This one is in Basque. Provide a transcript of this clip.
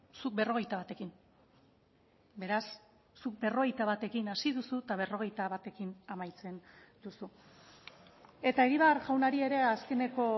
zuk berrogeita batekin beraz zuk berrogeita batekin hasi duzu eta berrogeita batekin amaitzen duzu eta egibar jaunari ere azkeneko